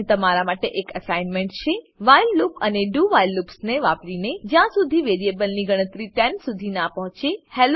અહીં તમારા માટે અસાઇનમેન્ટ છે વ્હાઇલ લૂપ અને do વ્હાઇલ લૂપ્સ વાપરીને જ્યાં શુધી વેરીએબલ ની ગણતરી 10 શુધી ના પહોચે